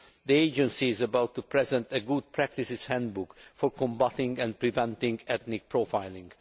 The Agency is about to present a good practices handbook for combating and preventing ethnic profiling.